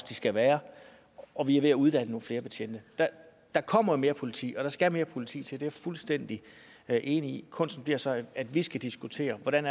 de skal være og vi er ved at uddanne nogle flere betjente der kommer mere politi og der skal mere politi til det er jeg fuldstændig enig i kunsten bliver så at vi skal diskutere hvordan